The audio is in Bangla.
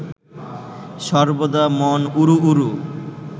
সর্বদা মন উড়ু উড়ু